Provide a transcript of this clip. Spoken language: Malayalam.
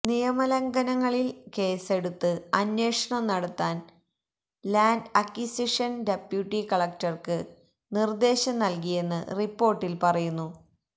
നിയമലംഘനങ്ങളില് കേസെടുത്ത് അന്വേഷണം നടത്താൻ ലാന്റ് അക്വിസിഷൻ ഡപ്യൂട്ടി കളക്ടർക്ക് നിർദ്ദേശം നൽകിയെന്ന് റിപ്പോർട്ടില് പറയുന്നു